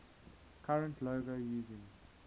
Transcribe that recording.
current logo using